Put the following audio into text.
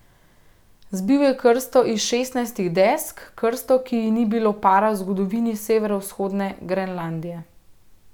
Zbil je krsto iz šestnajstih desk, krsto, ki ji ni bilo para v zgodovini severovzhodne Grenlandije.